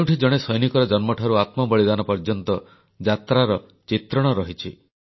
ଯେଉଁଠି ଜଣେ ସୈନିକର ଜନ୍ମଠାରୁ ଆତ୍ମବଳିଦାନ ପର୍ଯ୍ୟନ୍ତର ଯାତ୍ରାର ଚିତ୍ରଣ ରହିଛି